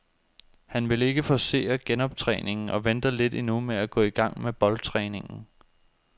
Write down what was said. Han vil ikke forcere genoptræningen og venter lidt endnu med at gå i gang med boldtræningen.